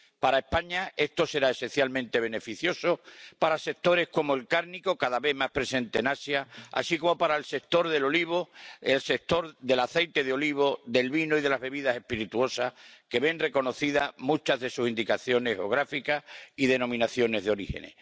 Para España esto será esencialmente beneficioso para sectores como el cárnico, cada vez más presente en Asia, así como para el sector del aceite de oliva, del vino y de las bebidas espirituosas, que ven reconocidas muchas de sus indicaciones geográficas y denominaciones de origen.